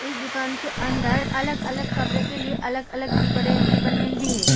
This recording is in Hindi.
इस दुकान के अंदर अलग-अलग कमरे के अलग-अलग डिप्रेम डिपार्ट्मेंट भी है।